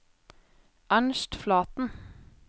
Ernst Flaten